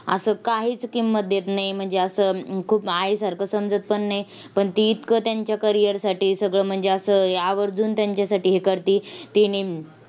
असं काहीच किंमत देत नाही. म्हणजे असं अं खूप आईसारखं समजत पण नाही. पण ती इतकं त्यांच्या career साठी सगळं म्हणजे असं आवर्जून त्यांच्यासाठी हे करते ते नीम